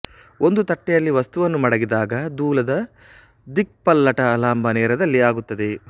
ಒಂದು ತಟ್ಟೆಯಲ್ಲಿ ವಸ್ತುವನ್ನು ಮಡಗಿದಾಗ ದೂಲದ ದಿಕ್ಪಲ್ಲಟ ಲಂಬನೇರದಲ್ಲಿ ಆಗುತ್ತದೆ